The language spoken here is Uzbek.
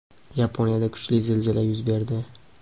Yaponiyada kuchli zilzila yuz berdi.